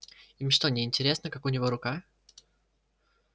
им что неинтересно как у него рука